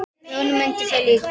Grjóni mundi það líka.